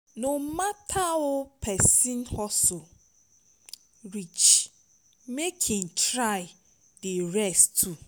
no mata ow pesin hustle reach mek him try dey rest too